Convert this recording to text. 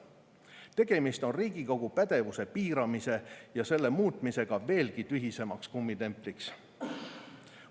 Tegemist on Riigikogu pädevuse piiramise ja selle muutmisega veelgi tühisemaks kummitempliks.